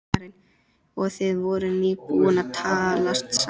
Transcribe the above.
Karen: Og þið voruð nýbúnir að talast saman?